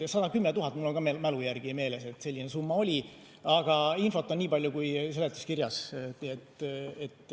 Ja 110 000 eurot – mul on ka mälu järgi meeles, et selline summa oli, aga infot on nii palju, kui seletuskirjas on.